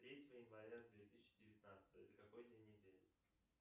третье января две тысячи девятнадцатого это какой день недели